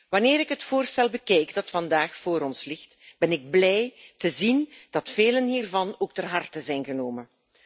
Wanneer ik het voorstel bekijk dat vandaag voor ons ligt, ben ik blij te zien dat vele hiervan ook ter harte zijn genomen.